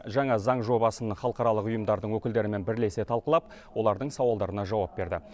жаңа заң жобасын халықаралық ұйымдардың өкілдерімен бірлесе талқылап олардың сауалдарына жауап берді